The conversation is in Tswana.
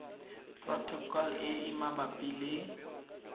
protocol e e mabapi le